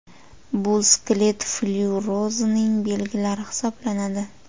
Bu – skelet flyuorozining belgilari hisoblanadi.